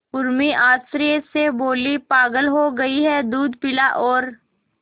उर्मी आश्चर्य से बोली पागल हो गई है दूध पिला और